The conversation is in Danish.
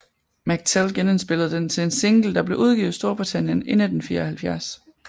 McTell genindspillede den til en single der blev udgivet i Storbritannien i 1974